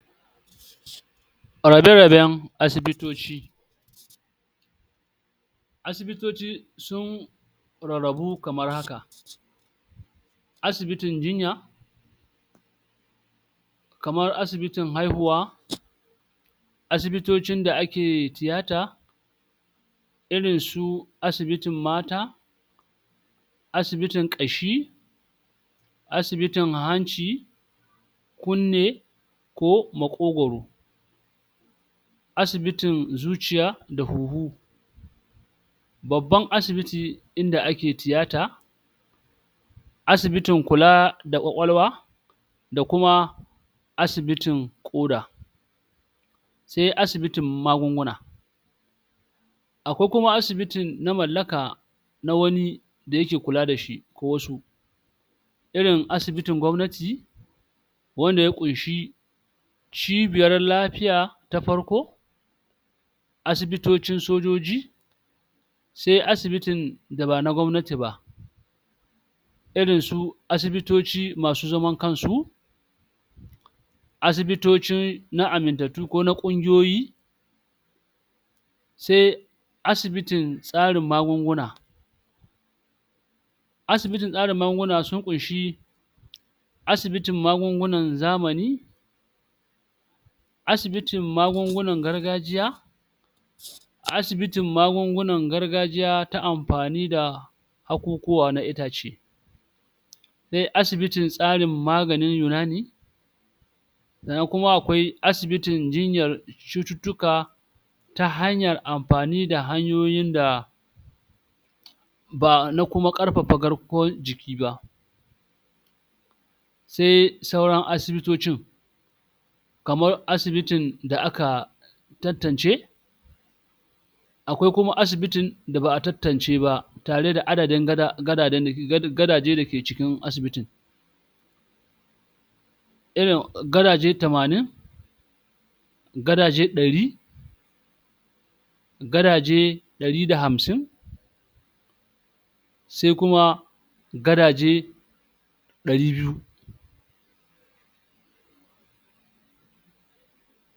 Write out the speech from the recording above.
Rara-raben asibitoci Asibitoci sun rarrabu kamar haka; Asibitin jinya, kamar asibitin haihuwa, asibitocin da ake tiyata, irinsu asibitin mata, asibitin ƙashi, asibitin hanci, kunne ko maƙogoro. Asibitin zuciya da huhu, babban asibitin ɗin da ake tiyata, asibitin kula da ƙwaƙwalwa da kuma asibitin ƙoda, sai asibitin magunguna. Akwai kuma asibiti na mallaka na wani da ya ke kula da shi ko wasu. Irin asibitin gwamnati wanda ya ƙunshi cibiyar lafiya ta farko, asibitocin sojoji. Sai asibitin da ba na gwamnati ba, irin su asibitoci masu zaman kansu asibitoci na amintattu ko na ƙungiyoyi. Sai asibitin sarin magunguna asibitin sarin magunguna sun ƙunshi asibitin magungunan zamani, asibitin magungunan gargajiya asibitin magungunan gargajiya na amfani da hakukuwa na itace. Sai asibitin tsarin maganin yunani sannan kuma akwai asibitin jinyar cututtuka ta hanyar amfani da hanyoyin da ba na kuma ƙarfafa garkuwar jiki ba. Sai sauran asibitocin kamar asibitin da aka tan-tance akwai kuma asibitin da ba'a tan-tance ba, tare da adadin gada gadaden da gadajen da ke cikin asibitin, irin gadaje tamanin, gadaje ɗari, gadaje ɗari da hamsin, sai kuma gadaje ɗari biyu.